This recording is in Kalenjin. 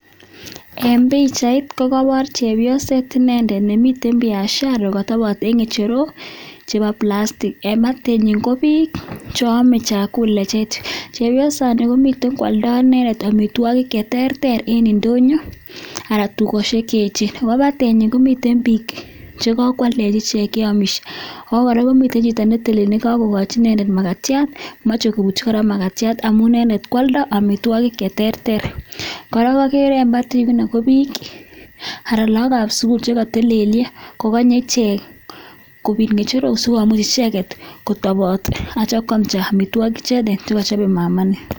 En pichait kokobor chepyoset inendet nemiten nemiten biashara kotobot en ng'echerok chebo plastic en batenyin ko biik cheame chakula. Chepyosani komiten koalda inendet amitwogik che terter en ndonyo anan tugosiek che eechen. Ago batenyin komiten biik che kakwal ichek che amishe. Ago kora komiten chito ne telil ne kagokochi inendet magatiat moche ko butyi kora magtiat amun inendet koalda amitwogik che terter. Kora agere en batet, ko biik anan lagok ab sugul che kotelelyo kogonye ichek kobit ng'echerok asikomuch icheget kotobot ak kityo kam amitwogik chekochobe mama ini.